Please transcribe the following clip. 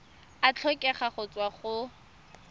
a tlhokega go tswa go